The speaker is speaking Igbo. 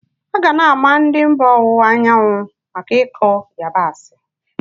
A ga na ama ndị mba owunwa anyawu maka ikụ yabasị.